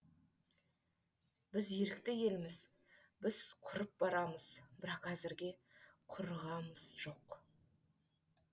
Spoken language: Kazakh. біз ерікті елміз біз құрып барамыз бірақ әзірге құрығамыз жоқ